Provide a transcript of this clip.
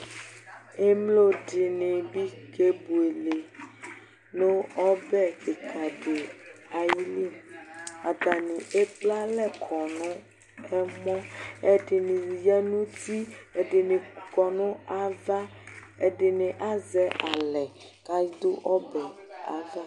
Emloɗinibi keboele nu ɔvɛ ɖikaɖi ayili Atani ekple alɛ kɔ nu ɛmɔ Ɛɗini ya nu uti, ɛdini kɔ nu ava, ɛɗini azɛ alɛ kaɗu ɔbɛ ayava